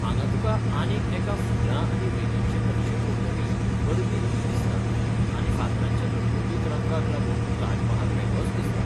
हांगां तुका आनीक एका फुलां आनी वेलींचे नक्षेभोंवतणी अरबी लिपी दिसता, आनी फातरांच्या लकलकीत रंगाक लागून ताज महाल वेगळोच दिसता.